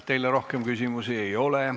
Teile rohkem küsimusi ei ole.